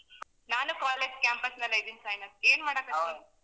ನಾನು college campus ನಲ್ಲೇ ಇದ್ದೀನಿ ಸಾಯಿನಾಥ್ ಏನ್ ಮಾಡಾಕತ್ತಿ?